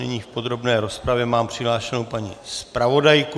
Nyní v podrobné rozpravě mám přihlášenou paní zpravodajku.